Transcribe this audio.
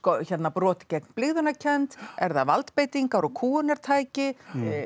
brot gegn blygðunarkennd er það valdbeitingar og kúgunartæki